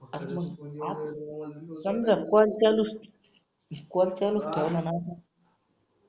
समजा कॉल चालुस कॉल चालुस ठेवला ना